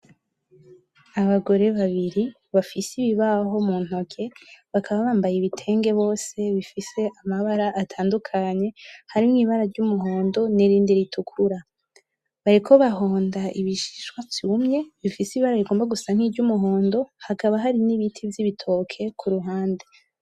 Abagore babibiri bafise ibi baho muntoki bakaba bambaye ibitenge bose bifise amabara atandukanye harimwo ibara ry'umuhondo nirindi ritukura, bariko bahonda ibishishwa vyumwe bifise ibara rigomba gusa nk'iryumuhondo hakaba hari niti vyibitoke kuruhande